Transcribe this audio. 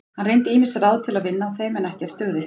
Hann reyndi ýmis ráð til að vinna á þeim en ekkert dugði.